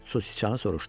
Su siçanı soruşdu.